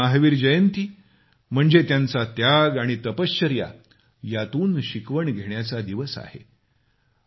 भगवान महावीर जयंती म्हणजे त्यांचा त्याग आणि तपश्चर्या यातून शिकवण घेण्याचा दिवस आहे